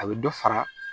A bɛ dɔ fara